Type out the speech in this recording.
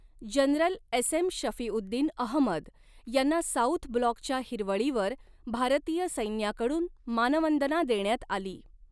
General S M Shafiuddin Ahmed यांना south ब्लॉकच्या हिरवळीवर भारतीय सैन्याकडून मानवंदना देण्यात आली.